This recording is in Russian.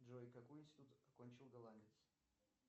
джой какой институт окончил голландец